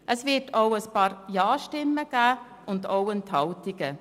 Es wird auch ein paar Ja-Stimmen geben und auch Enthaltungen.